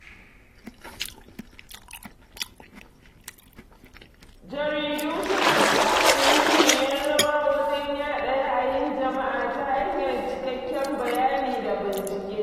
Jaridu suna taka muhimmiyar rawa wajen yaɗa ra'ayin jama'a ta hanyar cikakken bayani da bincike.